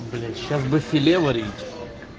блять сейчас бы филе варить